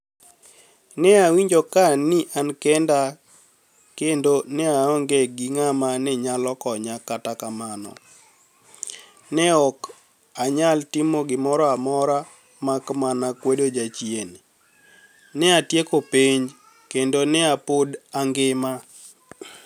ni e awinijo ka ani kenida kenido ni e aonige gi nig'ama niyalo koniya Kata kamano, ni e ok aniyal timo gimoro amora mak mania kwedo jachieni. ni e atieko penij, kenido ni e pod anigima.